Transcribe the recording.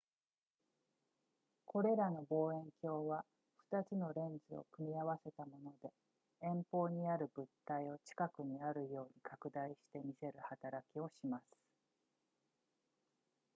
これらの望遠鏡は2つのレンズを組み合わせたもので遠方にある物体を近くにあるように拡大して見せる働きをします